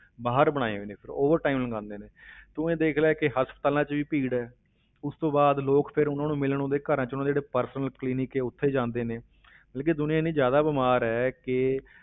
ਬਾਹਰ ਬਣਾਏ ਹੋਏ ਨੇ ਫਿਰ ਉਹ time ਲਗਾਉਂਦੇ ਨੇ ਤੂੰ ਇਹ ਦੇਖ ਲੈ ਕਿ ਹਸਪਤਾਲਾਂ ਵਿੱਚ ਵੀ ਭੀੜ ਹੈ, ਉਸ ਤੋਂ ਬਾਅਦ ਲੋਕ ਫਿਰ ਉਹਨਾਂ ਨੂੰ ਮਿਲਣ ਉਹਨਾਂ ਦੇ ਘਰਾਂ ਵਿੱਚ ਉਹਨਾਂ ਦੇ ਜਿਹੜੇ personal clinic ਹੈ ਉੱਥੇ ਜਾਂਦੇ ਨੇ ਮਤਲਬ ਕਿ ਦੁਨੀਆਂ ਇੰਨੀ ਜ਼ਿਆਦਾ ਬਿਮਾਰ ਹੈ ਕਿ